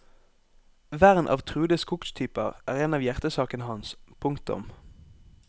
Vern av truede skogstyper er en av hjertesakene hans. punktum